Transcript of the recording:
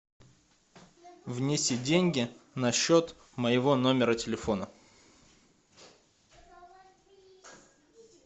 внеси деньги на счет моего номера телефона